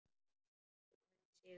Höfum unnið sigur.